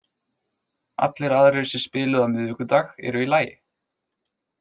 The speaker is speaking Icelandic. Allir aðrir sem spiluðu á miðvikudag eru í lagi.